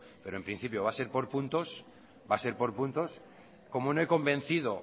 pero en principio va a ser pon puntos como no he convencido